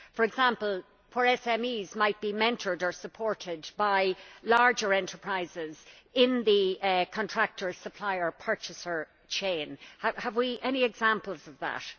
For example, where SMEs might be mentored or supported by larger enterprises in the contractor supplier purchaser chain, have we any examples of that?